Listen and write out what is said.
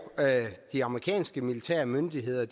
de amerikanske militærmyndigheder